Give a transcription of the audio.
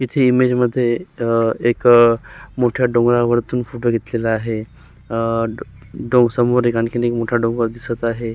इथे इमेजमध्ये अ एक मोठ्या डोंगरावरतून फोटो घेतलेला आहे अ डव समोर एक आणखिन एक मोठा डोंगर दिसत आहे.